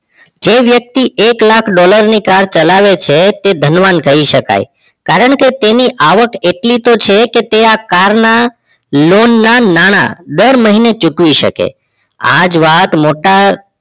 જે વ્યક્તિ એક લાખ ડોલરની car ચલાવે છે એ ધનવાન કહી શકાય કારણકે તેની આવક એટલી તો છે કે તે car ના loan ના નાણાં દર મહિને ચૂકવી શકે આ જ વાત મોટા